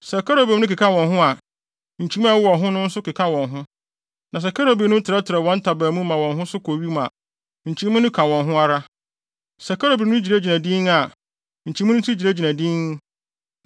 Sɛ kerubim no keka wɔn ho a, nkyimii a ɛwowɔ wɔn ho no nso keka wɔn ho; na sɛ kerubim no trɛtrɛw wɔn ntaban mu ma wɔn ho so kɔ wim a, nkyimii no ka wɔn ho ara.